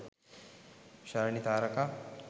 shalani tharaka